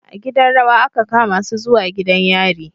A gidan rawa aka kamasu zuwa gidan yari